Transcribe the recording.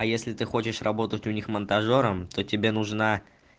а если ты хочешь работать у них монтажёром то тебе нужна